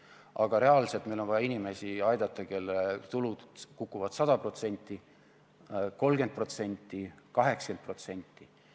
Aga reaalselt meil on vaja aidata inimesi, kelle tulud kukuvad 100%, 30%, 80%.